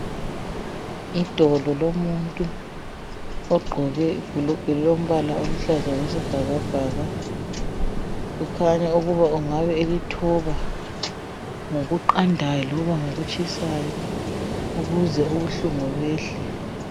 Idolo lomuntu ogqoke ibhulugwe elilombala oluhlaza okwesibhakabhaka kukhanya ukuba engabe elithoba ngokuqandayo loba ngokutshisayo ukuze ubuhlungu buyehle.